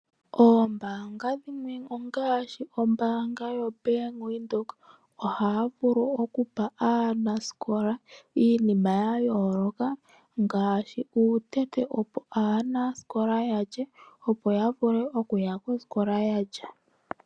Ombaanga dhimwe ongaashi ombaanga yaBank Windhoek ohaya vulu okupa aanasikola iinima ya yooloka ngaashi uutete, opo aanasikola ya lye, opo ya vule okuya kosikola ya lya.